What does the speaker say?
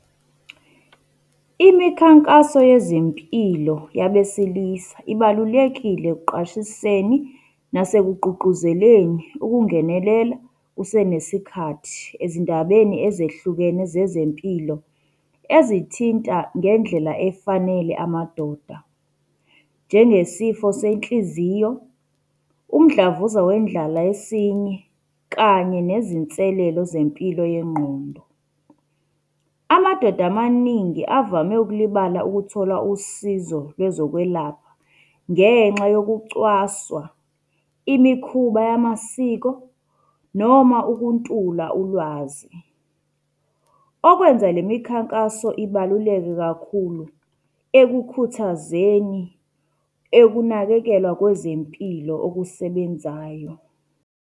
Imikhankaso yezempilo yabesilisa ibalulekile ekuqwashiseni nasekugqugquzeleni ukungenelela kusenesikhathi ezindabeni ezehlukene zezempilo ezithinta ngendlela efanele amadoda. Njengesifo senhliziyo, umdlavuza wendlala yesinye, kanye nezinselelo zempilo yengqondo. Amadoda amaningi avame ukulibala ukuthola usizo lwezokwelapha, ngenxa yokucwaswa, imikhuba yamasiko, noma ukuntula ulwazi. Okwenza le mikhankaso ibaluleke kakhulu ekukhuthazeni, ekunakekelwa kwezempilo okusebenzayo.